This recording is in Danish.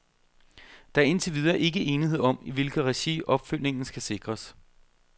Der er indtil videre ikke enighed om, i hvilket regi opfølgningen skal sikres.